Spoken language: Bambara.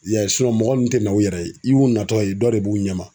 Ya ye mɔgɔ min tɛ na u yɛrɛ ye i y'u natɔ ye dɔ de b'u ɲɛ ma.